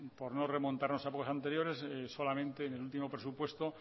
por no remontarnos a épocas anteriores solamente en el último presupuesto